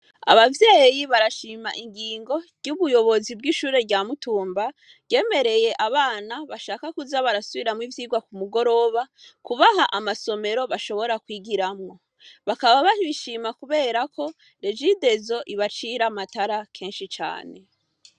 Abavyeyi barashima ingingo ry’ubuyobozi bw’ishure rya nutumba, ryemereye abana bashaka kuza barasubiramwo ivyigwa kumugoroba kubaha amasomero bashobora kwigiramwo bakaba babishima kubera ko regidezo ibacira amatara kenshi cane.